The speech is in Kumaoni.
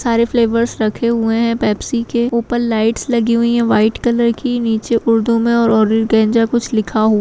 बहोत सारे फ्लेवर्स रखे हुए पेप्सी के ऊपर लाइट्स लगी हुई हैं व्हाइट कलर की नीचे उर्दू में कुछ लिखा हुआ --